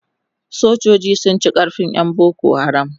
sojoji sun ci karfin ƴan boko haram